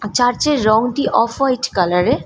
Church এর রংটি off white colour এর।